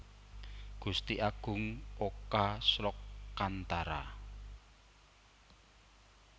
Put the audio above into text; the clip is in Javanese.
Gusti Agung Oka Slokantara